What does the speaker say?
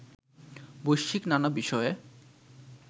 বৈশ্বিক নানা বিষয়ে